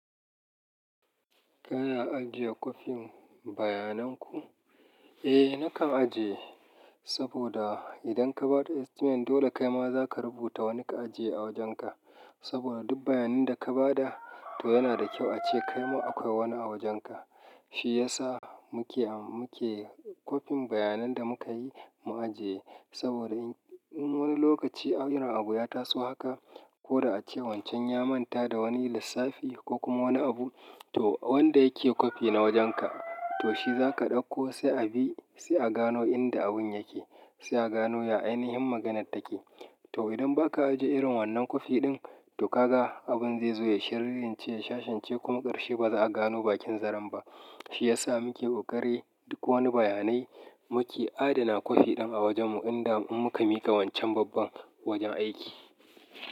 Kana ajiye kwafin bayanan ku? Eh, nakan ajiye saboda idan ka ba da estimate dole kaima za ka rubuta wani ka ajiye a wajenka. Saboda duk bayanin da ka ba da, to yana da kyau ace kaima akwai wani a wajenka. Shi ya sa muke a, muke kwafin bayanan da muka yi mu ajiye. Saboda in wani lokaci a, irin abu ya taso haka, ko da ace wancan ya manta da wani lissafi, ko kuma wani abu, to wanda yake kwafi na wajenka, to shi za ka ɗauko sai a bi, sai a gano inda abun yake, sai a gano ya ainihin maganar take. To idan ba ka ajiye irin wannan kwafi ɗin, to ka ga abun zai zo ya shalance, shashence kuma ƙarshe ba za a gano bakin zaren ba. Shi ya sa muke ƙoƙari, duk wani bayanai muke adana kwafi ɗin a wajenmu inda in mun muka miƙa wancan babban wajen aiki.